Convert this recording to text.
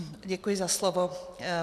Děkuji za slovo.